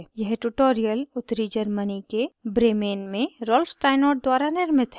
यह ट्यूटोरियल उत्तरी germany के bremen में rolf steinort द्वारा निर्मित है